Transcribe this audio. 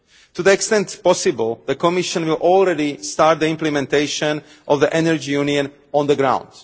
To the greatest extent possible, the Commission will already start the implementation of the Energy Union on the ground.